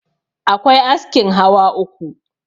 akwai askin hawa uku